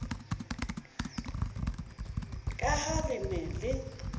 ka ha le ne le